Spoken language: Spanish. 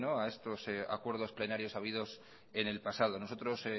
a estos acuerdo plenarios habidos en el pasado nosotros